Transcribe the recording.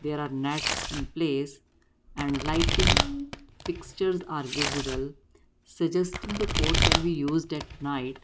there are nets in place and lighting fixtures are visible suggesting the code can be used at night.